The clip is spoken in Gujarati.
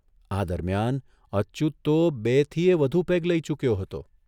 આ દરમિયાન અચ્યુત તો બેથીએ વધુ પેગ લઇ ચૂક્યો હતો.